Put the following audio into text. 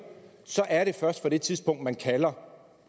så er det først fra det tidspunkt man indkalder